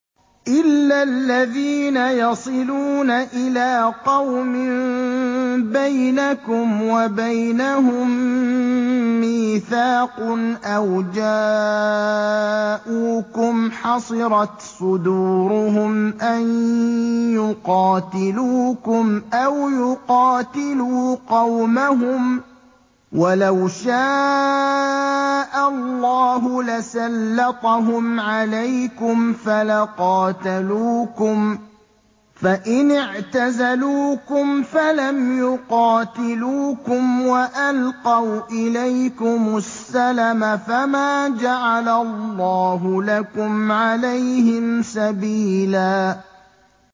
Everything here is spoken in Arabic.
إِلَّا الَّذِينَ يَصِلُونَ إِلَىٰ قَوْمٍ بَيْنَكُمْ وَبَيْنَهُم مِّيثَاقٌ أَوْ جَاءُوكُمْ حَصِرَتْ صُدُورُهُمْ أَن يُقَاتِلُوكُمْ أَوْ يُقَاتِلُوا قَوْمَهُمْ ۚ وَلَوْ شَاءَ اللَّهُ لَسَلَّطَهُمْ عَلَيْكُمْ فَلَقَاتَلُوكُمْ ۚ فَإِنِ اعْتَزَلُوكُمْ فَلَمْ يُقَاتِلُوكُمْ وَأَلْقَوْا إِلَيْكُمُ السَّلَمَ فَمَا جَعَلَ اللَّهُ لَكُمْ عَلَيْهِمْ سَبِيلًا